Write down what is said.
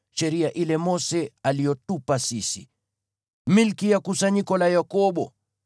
sheria ile Mose aliyotupa sisi, tulio milki ya kusanyiko la Yakobo.